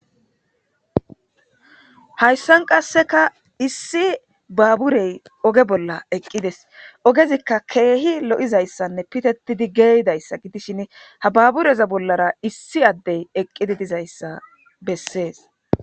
Haysann qaska isiyi babure oge bala aqdes. Ogezka kehi lo'izaysa ptetr gaydasa gidishin, ha babureza bolara eye adeyi eqdi didaysa beses.